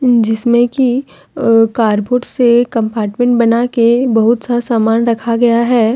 जिसमे की कारबोर्ड से कंपार्टमेंट बनाके बहुत सा सामान रखा गया है।